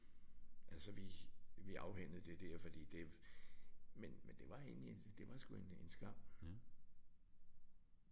Altså vi vi afhændede det der fordi det men men det var egentlig det var sgu egentlig en skam